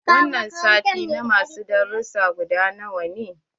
Wanga sati na ma su dasussan gudanarwa ne.